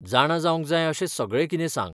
जाणा जावंक जाय अशें सगळें कितें सांग.